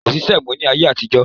Kòsí sẹ̀mó ni ayé àtijọ́